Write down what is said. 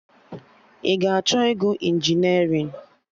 Ị ga-achọ ịgụ injinerịn?